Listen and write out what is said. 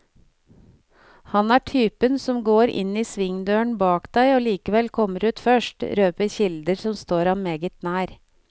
Han er typen som går inn i svingdøren bak deg og likevel kommer ut først, røper kilder som står ham meget nær.